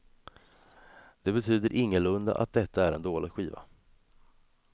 Det betyder ingalunda att detta är en dålig skiva.